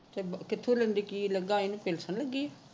ਕਿਥੇ ਲਗਾ ਕੀ ਲਗੀ ਇਹਨੂੰ pension ਲੱਗੀ ਹੈ